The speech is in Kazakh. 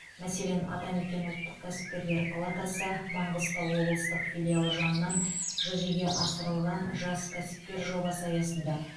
мәселен атамекен ұлттық кәсіпкерлер палатасы маңғыстау облыстық филиалы жанынан жүзеге асырылған жас кәсіпкер жобасы аясында